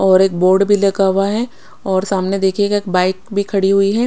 और एक बोर्ड भी लगा हुआ है और समाने देखिएगा एक बाइक भी खड़ी है।